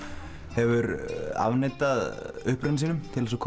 hefur afneitað uppruna sínum til að